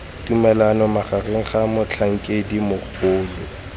tumalano magareng ga motlhankedi mogolo